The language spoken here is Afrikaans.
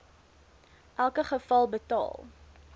elke geval betaal